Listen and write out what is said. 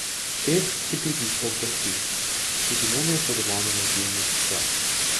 Pest si pritiska ob prsi, čuti nenadzorovano razbijanje srca.